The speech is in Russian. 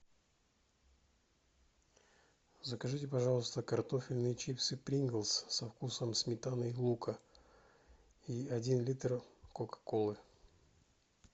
закажите пожалуйста картофельные чипсы принглз со вкусом сметаны и лука и один литр кока колы